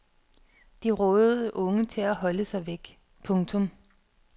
De rådede unge til at holde sig væk. punktum